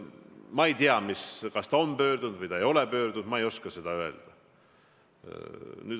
Ma ei tea, kas ta on kohtusse pöördunud või ta ei ole pöördunud, ma ei oska seda öelda.